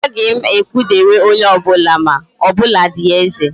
Agaghi m ekpudere onye obula ma, o buladi eze.